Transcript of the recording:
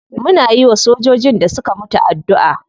Muna yiwa sojojin da suka mutu addu'a.